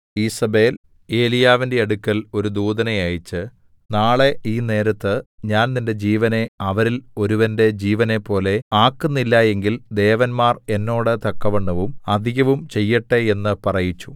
ഈസേബെൽ ഏലീയാവിന്റെ അടുക്കൽ ഒരു ദൂതനെ അയച്ച് നാളെ ഈ നേരത്ത് ഞാൻ നിന്റെ ജീവനെ അവരിൽ ഒരുവന്റെ ജീവനെപ്പോലെ ആക്കുന്നില്ല എങ്കിൽ ദേവന്മാർ എന്നോട് തക്കവണ്ണവും അധികവും ചെയ്യട്ടെ എന്ന് പറയിച്ചു